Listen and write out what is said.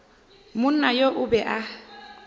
monna yo o be a